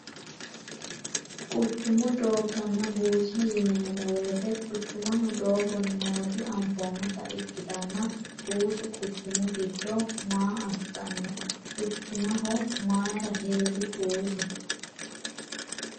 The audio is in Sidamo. quchumu doogganna buusa yineemmo weyite quchumaho dooggo nooti anfoommota ikkitanna buusu quchumu giddo maa assanno quchumaho mayira hee'ri buusu